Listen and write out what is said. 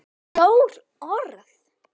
Stórt orð.